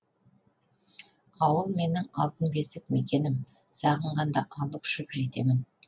ауыл менің алтын бесік мекенім сағынғанда алып ұшып жетемін